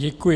Děkuji.